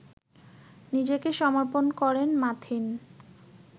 নিজেকে সমর্পণ করেন মাথিন